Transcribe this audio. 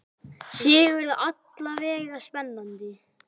Sigurður: Alla vega spennandi?